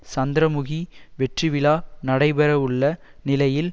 சந்திரமுகி வெற்றி விழா நடைபெறவுள்ள நிலையில்